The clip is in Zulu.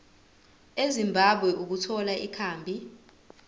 ezimbabwe ukuthola ikhambi